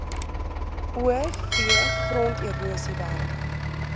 o v gronderosiewerke